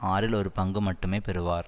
ஆறில் ஒரு பங்கு மட்டுமே பெறுவார்